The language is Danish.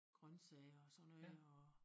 Grøntsager og sådan noget og